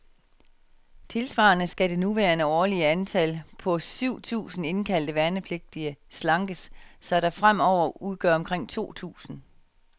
Tilsvarende skal det nuværende årlige antal, på syv tusinde indkaldte værnepligtige, slankes, så det fremover udgør omkring to tusinde.